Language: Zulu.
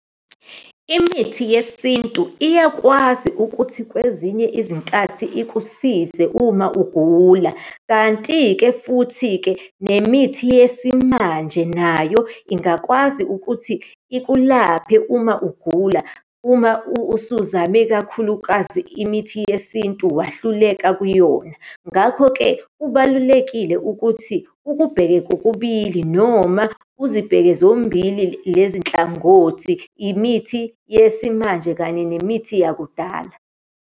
Imithi yesintu iyakwazi ukuthi kwezinye izinkathi ikusize uma ugula. Kanti-ke, futhi-ke nemithi yesimanje nayo ingakwazi ukuthi ikulaphe uma ugula, uma usuzame kakhulukazi imithi yesintu, wahluleka kuyona. Ngakho-ke kubalulekile ukuthi ukubheke kokubili, noma uzibheke zombili lezi nhlangothi, imithi yesimanje kanye nemithi yakudala.